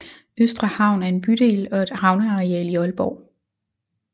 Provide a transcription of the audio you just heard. Østre Havn er en bydel og et havneareal i Aalborg